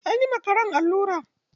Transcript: An yi wa karen allura.